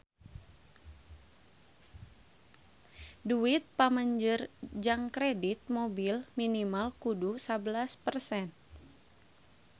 Duit pamanjer jang kredit mobil minimal kudu sabelas persen